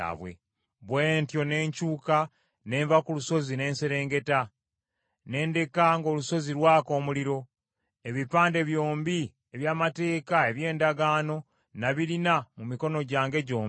Bwe ntyo ne nkyuka ne nva ku lusozi ne nserengeta, ne ndeka ng’olusozi lwaka omuliro. Ebipande byombi eby’amateeka eby’endagaano nabirina mu mikono gyange gyombi.